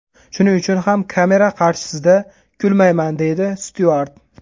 Shuning uchun ham kamera qarshisida kulmayman”, deydi Styuart.